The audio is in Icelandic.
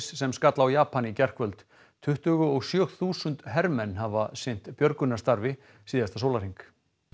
sem skall á Japan í gærkvöld tuttugu og sjö þúsund hermenn hafa sinnt björgunarstarfi síðasta sólarhring